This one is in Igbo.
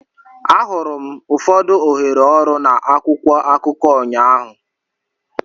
Ahụrụ m ụfọdụ ohere ọrụ na akwụkwọ akụkọ ụnyaahụ.